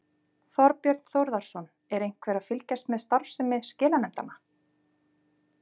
Þorbjörn Þórðarson: Er einhver að fylgjast með starfsemi skilanefndanna?